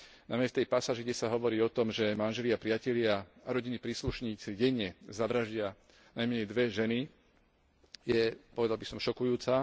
Najmä tá pasáž, kde sa hovorí o tom, že manželia, priatelia a rodinní príslušníci denne zavraždia najmenej dve ženy, je, povedal by som, šokujúca.